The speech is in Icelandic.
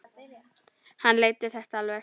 hann leiddi þetta alveg.